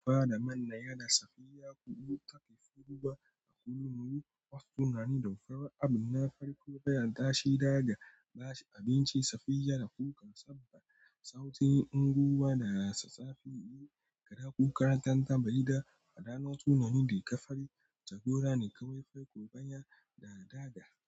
Fada mana yana safiya, kuɗu ta tafi ruwa a kullu. Nuru was sunami da fari. Abin na farko bayan tashi, daga bacci abinci safiyar da kuka saba. Sauti in ruwa da safe, yi gara kukan tantabari da fada. Na sunami da ka fari, tagora ne kawai farko bayan da daga.